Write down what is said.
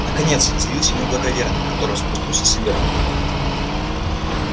наконец заявился мой благоверный который спустился сверху